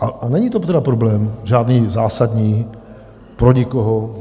A není to tedy problém žádný zásadní, pro nikoho.